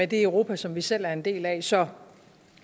det europa som vi selv er en del af så